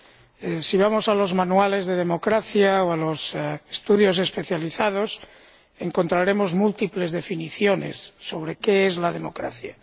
Si consultamos los manuales de democracia o los estudios especializados, encontraremos múltiples definiciones sobre qué es la democracia.